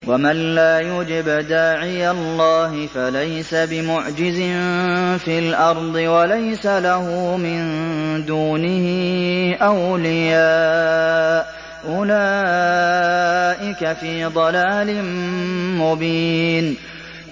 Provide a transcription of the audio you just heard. وَمَن لَّا يُجِبْ دَاعِيَ اللَّهِ فَلَيْسَ بِمُعْجِزٍ فِي الْأَرْضِ وَلَيْسَ لَهُ مِن دُونِهِ أَوْلِيَاءُ ۚ أُولَٰئِكَ فِي ضَلَالٍ مُّبِينٍ